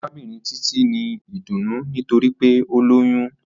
Arabinrin Titi n ni idunnu nitori pe o loyun